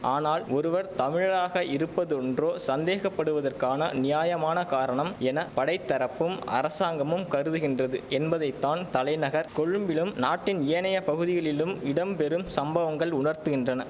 ஆனால் ஒருவர் தமிழழாக இருப்பதொன்றே சந்தேகப்படுவதற்கான நியாயமான காரணம் என படைத்தரப்பும் அரசாங்கமும் கருதுகின்றது என்பதைத்தான் தலைநகர் கொழும்பிலும் நாட்டின் ஏனைய பகுதிகளிலும் இடம் பெறும் சம்பவங்கள் உணர்த்துகின்றன